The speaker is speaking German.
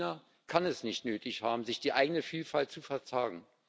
China kann es nicht nötig haben, sich die eigene Vielfalt zu versagen.